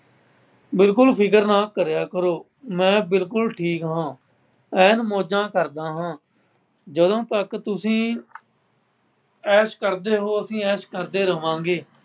ਬਿਲਕੁੱਲ ਫਿਕਰ ਨਾ ਕਰਿਆ ਕਰੋ, ਮੈ ਬਿਲਕੁੱਲ ਠੀਕ ਹਾਂ। ਅੇਨ ਮੌਜ਼ਾਂ ਕਰਦਾ ਹਾਂ। ਜਦੋਂ ਤੱਕ ਤੁਸੀਂ ਐਸ਼ ਕਰਦੇ ਹੋ ਅਸੀਂ ਐਸ਼ ਕਰਦੇ ਰਹਵਾਂਗੇ।